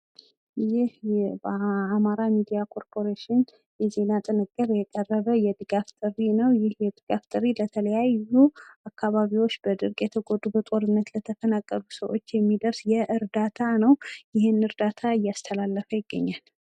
ይህ የአማራ ሚዲያ ኮርፖሬሽን የቀረበው የድጋፍ ጥሪ ነው ።ይህ የድጋፍ ጥሪ የተለያዩ በድርቅ የተጎዱ አካባቢዎችን ፣በጦርነት ለተፈናቀሉ ሰዎች የሚደርስ እርዳታ እያስተላለፈ ይገኛል ።